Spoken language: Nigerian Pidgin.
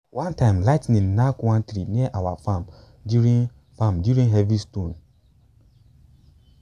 one time lightning knack one tree near our farm during farm during heavy storm.